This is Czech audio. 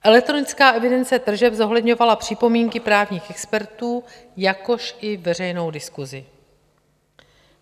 Elektronická evidence tržeb zohledňovala připomínky právních expertů, jakož i veřejnou diskuzi.